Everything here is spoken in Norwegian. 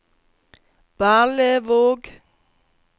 Berlevåg